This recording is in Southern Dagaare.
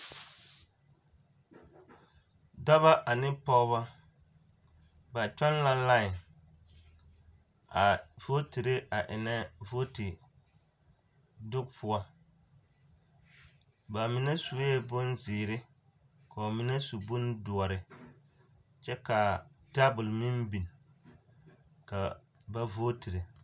dɔba ane pɔgba ba toŋ la laŋee a vootree a eŋne vooti dɔŋpoɔ ba mine suyee bonziire ka ba mine su bondoɔre kyɛ ka tabol meŋ biŋ ka ba vootree.